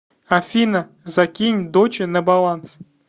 афина закинь доче на баланс